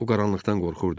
O qaranlıqdan qorxurdu.